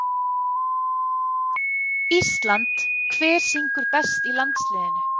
Ísland Hver syngur best í landsliðinu?